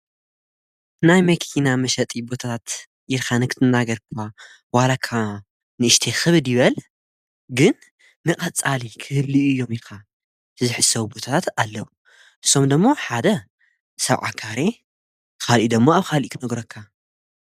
ናይ መኪና መሸጢ ቦታታት ኢልካ ንክትናር እኳ ዋላካ ንእሽተይ ኽብድ ይበል ግን ንቀፃሊ ክህልዩ እዮም ኢኻ ዝሕሰቡ ቦታታት ኣለዉ ሶምዶሞ ሓደ ሰብዓካሬ ኻልእደሞ ኣብ ኻልእ ኽነግረካ።